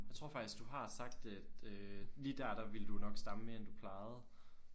Jeg tror faktisk du har sagt at øh lige dér der ville du nok stamme mere end du plejede